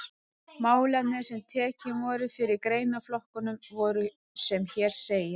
Málefnin sem tekin voru fyrir í greinaflokkunum voru sem hér segir